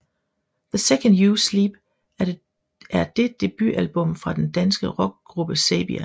The Second You Sleep er det debutalbummet fra den danske rockgruppe Saybia